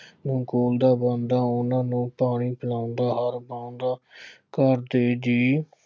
ਨੂੰ ਖਵਾਉਂਦਾ, ਉਹਨਾ ਨੂੰ ਪਾਣੀ ਪਿਲਾਉਂਦਾ ਹਰ ਕੰਮ ਕਾਜ ਕਰਦੇ ਜੀ